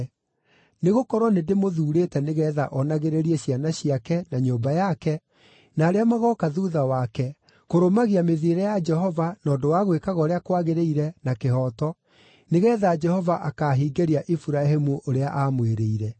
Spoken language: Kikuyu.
Nĩgũkorwo nĩndĩmũthuurĩte nĩgeetha onagĩrĩrie ciana ciake, na nyũmba yake, na arĩa magooka thuutha wake, kũrũmagia mĩthiĩre ya Jehova na ũndũ wa gwĩkaga ũrĩa kwagĩrĩire, na kĩhooto, nĩgeetha Jehova akaahingĩria Iburahĩmu ũrĩa aamwĩrĩire.”